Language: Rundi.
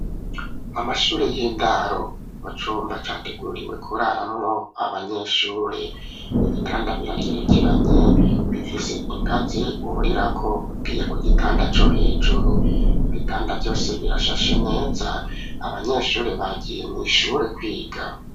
Amashure y'indaro mu cumba categuriwe kurara mwo abanyeshure . Ibitanda biragerekeranye bifise ingazi urira ko ugiye ku gitanda co hejuru. Ibitanda vyose birashashe neza abanyeshure bagiye mwishure kwiga.